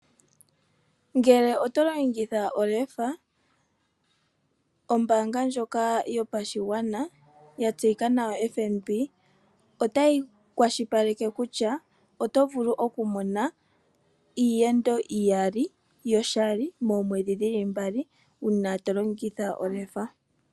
Ngele oto longitha olefa, ombaanga ndjoka yopashigwana yatseyika nawa FNB, otayi kwashilipaleke kutya oto vulu okumona iiyendo iyali yoshali moomwedhi dhili mbali, uuna tolongitha olefa.